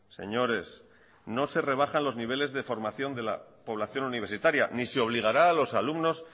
señores no se rebajan los niveles de formación de la población universitaria ni se obligará a los alumnos